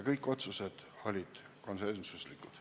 Kõik otsused olid konsensuslikud.